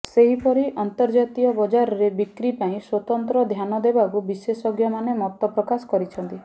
ସେହିପିର ଅର୍ନ୍ତଜାତୀୟ ବଜାରରେ ବିକ୍ରି ପାଇଁ ସ୍ୱତନ୍ତ୍ର ଧ୍ୟାନ ଦେବାକୁ ବିଶେଷଜ୍ଞମାନେ ମତ ପ୍ରକାଶ କରିଛନ୍ତି